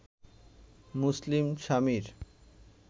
মুসলিম স্বামীর